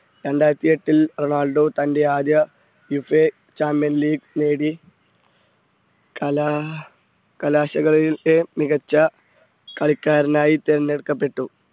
രണ്ടായിരത്തി എട്ടിൽ റൊണാൾഡോ തൻറെ ആദ്യ ഫിഫ ചാമ്പ്യൻ ലീഗ് നേടി കല കലാശകളിലൊക്കെ മികച്ച കളിക്കാരൻ ആയി തിരഞ്ഞെടുക്കപ്പെട്ടു.